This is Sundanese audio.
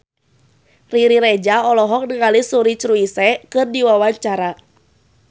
Riri Reza olohok ningali Suri Cruise keur diwawancara